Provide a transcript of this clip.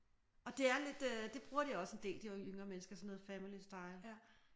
Og det er lidt det bruger de også en del de yngre mennesker sådan noget family style